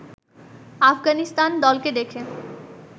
আফগানিস্তান দলকে দেখে